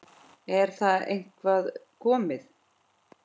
Er það eitthvað komið?